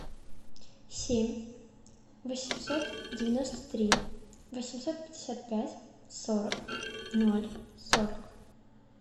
семь восемьсот девяносто три восемьсот пятьдесят пять сорок ноль сорок